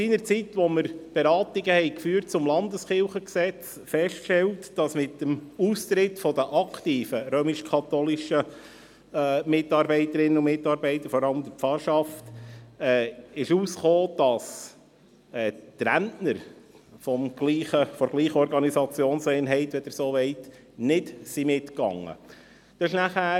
Als wir seinerzeit die Beratungen zum Gesetz über die bernischen Landeskirchen (Kirchengesetz, KG) führten, stellte sich heraus, dass mit dem Austritt der aktiven römisch-katholischen Mitarbeiterinnen und Mitarbeiter, vor allem der Pfarrschaft, die Rentner derselben Organisationseinheit, wenn man so sagen kann, nicht mitgegangen sind.